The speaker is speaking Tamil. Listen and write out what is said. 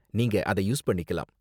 நீங்க அதை யூஸ் பண்ணிக்கலாம்.